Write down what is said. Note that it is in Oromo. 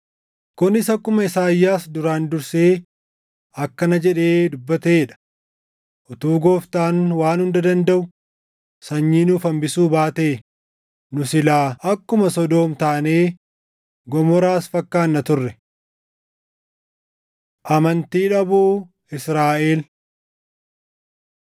Kunis akkuma Isaayyaas duraan dursee akkana jedhee dubbatee dha: “Utuu Gooftaan Waan Hunda Dandaʼu, sanyii nuuf hambisuu baatee, nu silaa akkuma Sodoom taanee, Gomoraas fakkaanna turre.” + 9:29 \+xt Isa 1:9\+xt* Amantii Dhabuu Israaʼel